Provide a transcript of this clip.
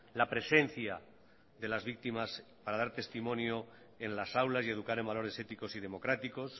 la presencia de las víctimas para dar testimonio en las aulas y educar en valores éticos y democráticos